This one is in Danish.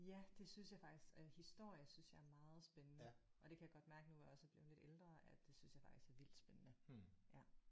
Ja det synes jeg faktisk og historie synes jeg er meget spændende. Og det kan jeg godt mærke nu hvor jeg også er blevet lidt ældre at det synes jeg faktisk er vildt spændende ja